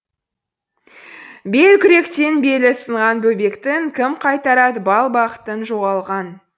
белкүректен белі сынған бөбектіңкім қайтарад бал бақытын жоғалған